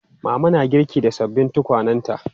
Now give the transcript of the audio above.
Mama na girki da sababbin tukwanenta.